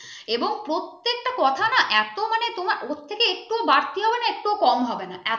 এবং প্রত্যেক তা কথা না এত মানে তোমার ওর থেকে একটুও বাড়তি হবে না একটুও কম হবে না এত